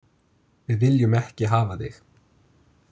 Við viljum ekki hafa þig.